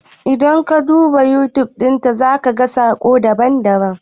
In ka duba YouTube, za ka gan sakamako daban-daban.